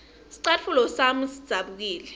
scatfulo sami sidzabukile